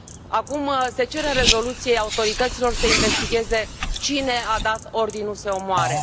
Acum se cere în rezoluție autorităților să investigheze cine a dat ordinul să îi omoare.